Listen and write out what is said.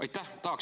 Aitäh!